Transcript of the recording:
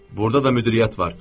Burda da müdiriyyət var.